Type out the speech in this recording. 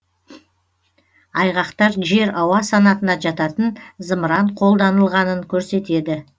айғақтар жер ауа санатына жататын зымыран қолданылғанын көрсетеді